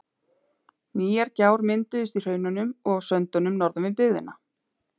Nýjar gjár mynduðust í hraununum og á söndunum norðan við byggðina.